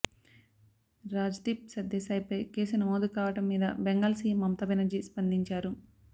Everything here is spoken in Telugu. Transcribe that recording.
రాజ్దీప్ సర్దేశాయ్పై కేసు నమోదు కావడం మీద బెంగాల్ సీఎం మమతా బెనర్జీ స్పందించారు